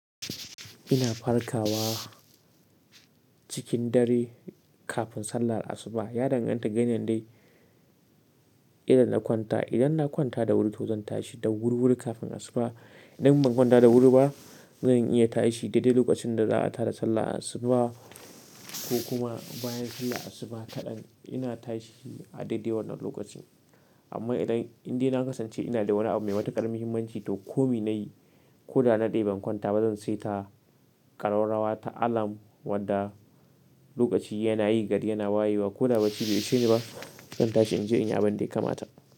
Ina farkawa cikin dare kafin sallar asuba. Yadangan ta da yanayin dai idan na kwanta. Idan na kwanta da wuri to zan tashi da wuri-wuri kafin asuba. Idan ban kwanta da wuri ba, zan iya tashi daidai lokacin da za'a tada sallah asuba ko kuma bayan sallah asuba kaɗan. Ina tashi a daidai wannan lokacin. Amma idan inde na kasance ina da wani abu mai matukar muhimmanci to komai nayi ko da na dade ban kwanta ba, zan sai ta ƙararrawa ta alam wadda lokaci yana yi gari yana wayewa ko da bacci bai ishe ni ba, zan tashi in je inyi abin da ya kamata.